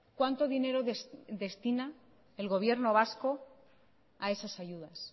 cuánto dinero destina el gobierno vasco a esas ayudas